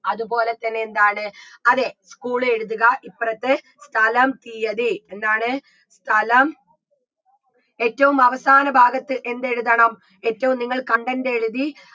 അത്പോലെ തന്നെ എന്താണ് അതെ school എഴുതുക ഇപ്പറത്ത് സ്ഥലം തീയ്യതി എന്താണ് സ്ഥലം ഏറ്റും അവസാന ഭാഗത്ത് എന്തെഴുതണം ഏറ്റും നിങ്ങൾ content എഴുതി